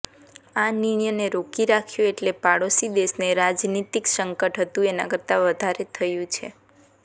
આ નિર્ણયને રોકી રાખ્યો એટલે પાડોશી દેશને રાજનિતીક સંકટ હતું એના કરતા વધારે થયું છે